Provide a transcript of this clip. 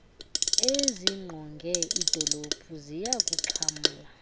ezingqonge iidolophu ziyakuxhamla